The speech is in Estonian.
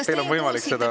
Teil on võimalik seda …